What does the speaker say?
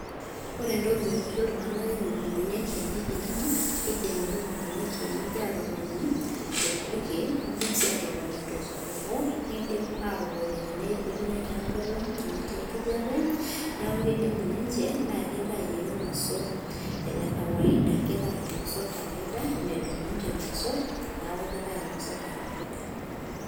Ore entoki nanyorrie iltung'anak ilukunguni e kienyeji naa kiidim ilukungunu e kienyeji aatotoni torpurkel niidim sii aatotoni tosupuko, niidim aatotoni tewueji netii enkolong', tenetii enkijiape neeku kidimu ninche naa kitau ake irmosorr kawaida medung' ninche irmosorr, neeku kitau irmosorr kawaida.